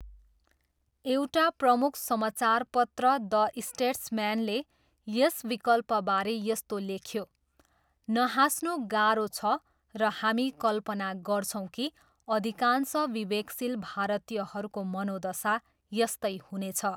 एउटा प्रमुख समाचारपत्र द स्टेट्सम्यानले यस विकल्पबारे यस्तो लेख्यो, नहाँस्नु गाह्रो छ र हामी कल्पना गर्छौँ कि अधिकांश विवेकशील भारतीयहरूको मनोदशा यस्तै हुनेछ।